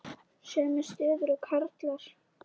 Sömu stöðu og karlar.